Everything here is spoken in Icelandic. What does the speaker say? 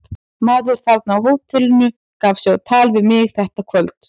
Maður þarna á hótelinu gaf sig á tal við mig þetta kvöld.